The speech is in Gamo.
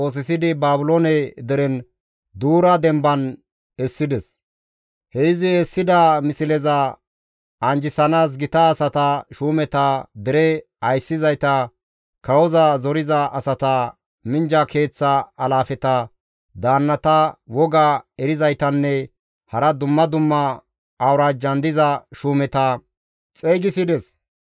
He izi essida misleza anjjisanaas gita asata, shuumeta, dere ayssizayta, kawoza zoriza asata, minjja keeththa alaafeta, daannata, woga erizaytanne hara dumma dumma awuraajjan diza shuumeta xeygisides.